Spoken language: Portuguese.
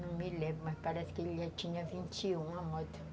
Não me lembro, mas parece que ele já tinha vinte e um